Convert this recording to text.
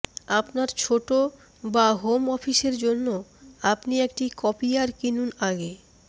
আপনার ছোট বা হোম অফিসের জন্য আপনি একটি কপিয়ার কিনুন আগে